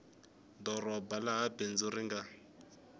doroba laha bindzu ri nga